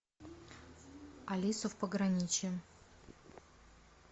алиса в пограничье